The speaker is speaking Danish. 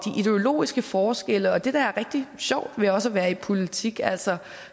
ideologiske forskelle og det der er rigtig sjovt ved også at være i politik altså